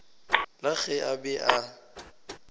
la ge a be a